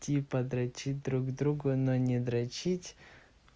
типа дрочить друг другу но не дрочить